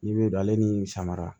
N'i bɛ don ale ni samara